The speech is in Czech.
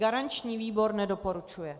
Garanční výbor nedoporučuje.